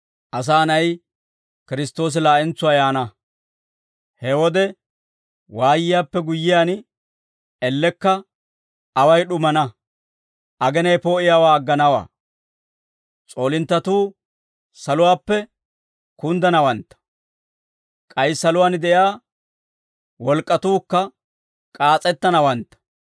«He wode waayiyaappe guyyiyaan, elekka away d'umaana; agenay poo'iyaawaa agganawaa; s'oolinttatuu saluwaappe kunddanawantta; k'ay saluwaan de'iyaa wolk'k'atuukka k'aas'ettanawantta.